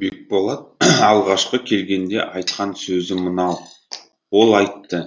бекболат алғашқы келгенде айтқан сөзі мынау ол айтты